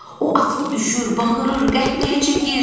O atılıb düşür, bağırır, qəhqəhə çəkir.